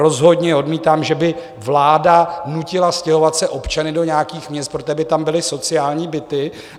Rozhodně odmítám, že by vláda nutila stěhovat se občany do nějakých měst, protože by tam byly sociální byty.